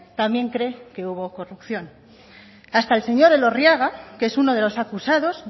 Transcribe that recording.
también cree que hubo corrupción hasta el señor elorriaga que es uno de los acusados